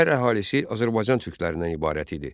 Şəhər əhalisi Azərbaycan türklərindən ibarət idi.